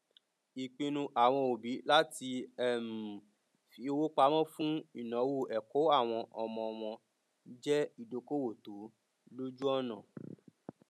ìpinnu àwọn òbí láti um fi owó pamọ fún ináwó ẹkọ àwọn ọmọ wọn jẹ ìdókòwò tó lójúọnà